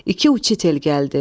İki uçitel gəldi.